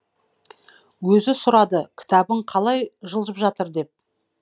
өзі сұрады кітабың қалай жылжып жатыр деп